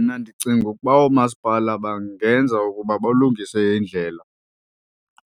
Mna ndicinga ukuba oomasipala bangenza ukuba balungise iindlela